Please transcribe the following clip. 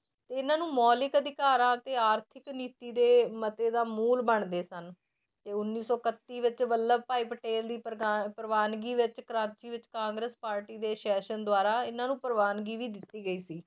ਇਹਨਾਂ ਨੂੰ ਮੌਲਿਕ ਅਧਿਕਾਰਾਂ ਅਤੇ ਆਰਥਿਕ ਨੀਤੀ ਦੇ ਮਤੇ ਦਾ ਮੂਲ ਬਣਦੇ ਸਨ ਤੇ ਉੱਨੀ ਸੌ ਇਕੱਤੀ ਵਿੱਚ ਵੱਲਭ ਭਾਈ ਪਟੇਲ ਦੀ ਪਰਵਾਨਗੀ ਵਿੱਚ ਕ੍ਰਾਚੀ ਵਿੱਚ ਕਾਂਗਰਸ ਪਾਰਟੀ ਦੇ session ਦੁਆਰਾ ਇਹਨਾਂ ਨੂੰ ਪਰਵਾਨਗੀ ਵੀ ਦਿੱਤੀ ਗਈ ਸੀ